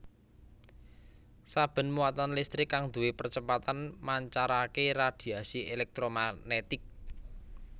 Saben muatan listrik kang duwé percepatan mancarake radhiasi èlèktromagnetik